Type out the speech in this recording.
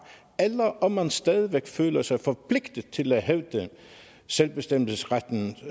eller om man stadig væk føler sig forpligtet til at hævde selvbestemmelsesrettens